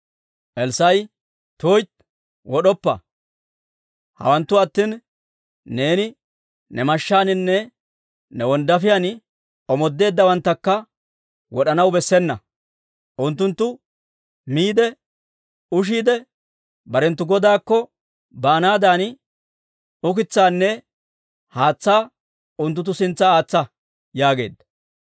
Elssaa'i, «tuytti wod'oppa! Hawanttu attina, neeni ne mashshaaninne ne wonddaafiyaan omoodeeddawanttakka wod'anaw bessena. Unttunttu miide ushiidde barenttu godaakko baanaadan, ukitsaanne haatsaanne unttunttu sintsa aatsa» yaageedda.